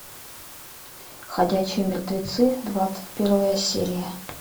ходячие мертвецы двадцать первая серия